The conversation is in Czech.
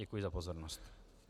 Děkuji za pozornost.